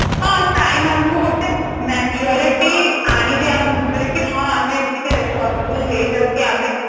ହଁ time ଆମକୁ ଗୋଟେ maturity ଆଣିଦିଏ ଆମ ଭିତରେ କି ହଁ ଆମେ ଏତିକି responsible ହେଇ ଯାଉ କି ଆମେ